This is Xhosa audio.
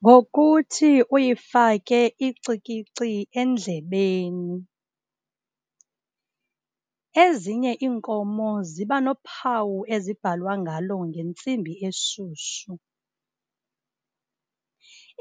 Ngokuthi uyifake icikici endlebeni, ezinye iinkomo ziba nophawu ezibhalwe ngalo ngentsimbi eshushu.